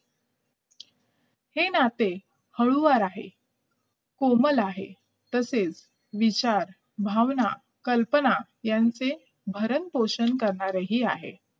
हे नाते हळुवार आहे कोमल आहे तसेच विचार भावना कल्पना यांचे भरणं पोषण करणारे आहे